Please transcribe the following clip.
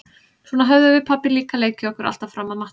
Svona höfðum við pabbi líka leikið okkur alltaf fram að matnum.